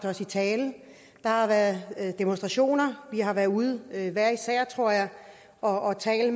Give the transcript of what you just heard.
os i tale der har været demonstrationer vi har været ude hver især tror jeg og tale